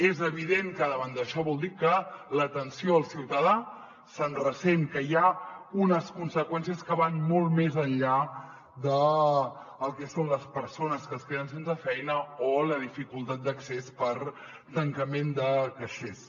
és evident que davant d’això vol dir que l’atenció al ciutadà se’n ressent que hi ha unes conseqüències que van molt més enllà del que són les persones que es queden sense feina o la dificultat d’accés per tancament de caixers